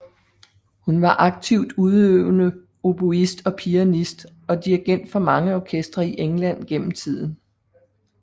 Hun var aktivt udøvende oboist og pianist og dirigent for mange orkestre i England gennem tiden